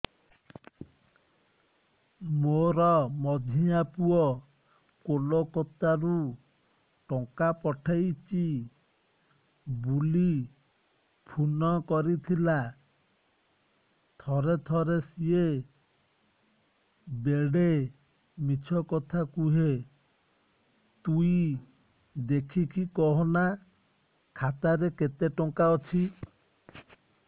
ମୋର ମଝିଆ ପୁଅ କୋଲକତା ରୁ ଟଙ୍କା ପଠେଇଚି ବୁଲି ଫୁନ କରିଥିଲା ଥରେ ଥରେ ସିଏ ବେଡେ ମିଛ କଥା କୁହେ ତୁଇ ଦେଖିକି କହନା ଖାତାରେ କେତ ଟଙ୍କା ଅଛି